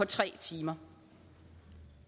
tre timer